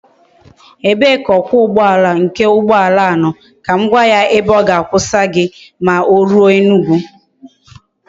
Ebe ka okwa ugboala nke ugboala a no kam gwa ya ebe oga akwusa gi ma o ruo Enugwu?